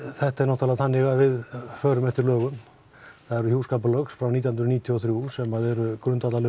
þetta er náttúrulega þannig að við förum eftir lögum það eru hjúskaparlög frá nítján hundruð níutíu og þrjú sem eru grundvöllurinn